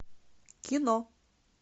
кино